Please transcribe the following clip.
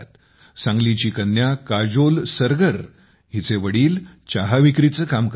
सांगलीची कन्या काजोल सरगारचे वडील चहा विक्रीचे काम करतात